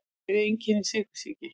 Hver eru einkenni sykursýki?